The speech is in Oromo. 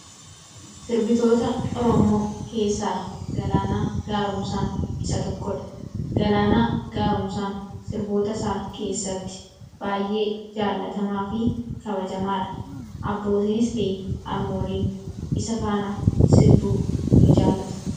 Sirbitoota Oromoo keessaa Galaanaa Gaaromsaan isa tokkodha. Galaana Gaaromsaan sirboota isaa keessatti baay'ee jaallatamaa fi kabajamaadha .abbootinisti armooliin isa faana sirbuu ni jaallatu.